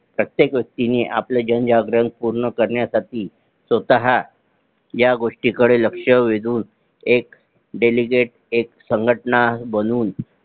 प्रत्येक व्यक्तीने आपले जनजागरण पूर्ण करण्यासाठी स्वतः ह्या गोष्टी कडे लक्ष वेधून एक Dedicate संघटना बनवून